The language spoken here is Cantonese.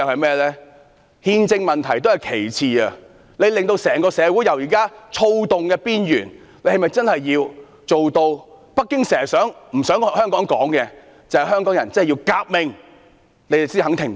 其實憲政問題亦屬其次，最慘的是把現時社會在躁動邊緣推到北京政府一直不希望香港人提到的革命之上，政府才肯停止。